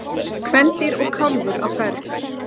kvendýr og kálfur á ferð